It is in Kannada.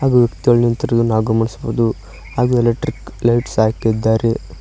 ನಾವು ಗಮನಿಸಬಹುದು ಹಾಗೂ ಎಲೆಕ್ಟ್ರಿಕ್ ಲೈಟ್ಸ್ ಹಾಕಿದ್ದಾರೆ.